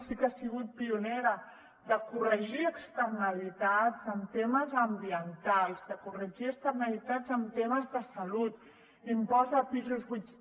sí que ha sigut pionera de corregir externalitats en temes ambientals de corregir externalitats en temes de salut impost de pisos buits